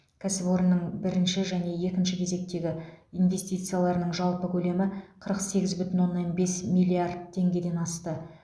кәсіпорынның бірінші және екінші кезектегі инвестицияларының жалпы көлемі қырық сегіз бүтін оннан бес миллиард теңгеден асты